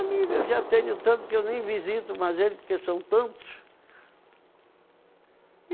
Amigo eu já tenho tanto que eu nem visito mais ele, porque são tantos.